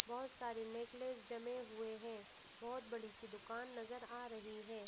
बहुत सारे नेकलेस जमे हुए हैं बहुत बड़ी सी दुकान नजर आ रही है।